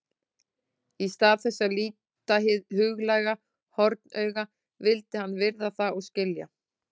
Í stað þess að líta hið huglæga hornauga vildi hann virða það og skilja.